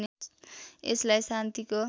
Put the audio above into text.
यसलाई शान्तिको